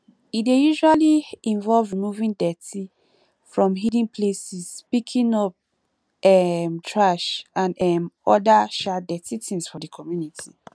e dey usually involve removing dirty from hidden places picking up um trash and um oda um dirty things for di community